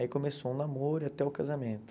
Aí começou o namoro e até o casamento.